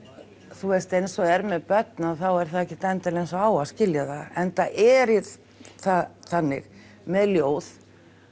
þú veist eins og er með börn þá er það ekkert endilega eins og á að skilja það enda er það þannig með ljóð